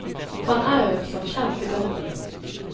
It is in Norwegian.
Han er jo som kjent imot den.